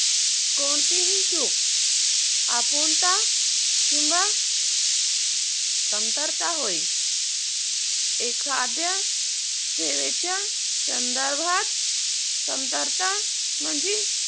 कोणतीही चूक किंवा कमतरता होय एखाद्या सेवेच्या संदर्भात कमतरता म्हणजे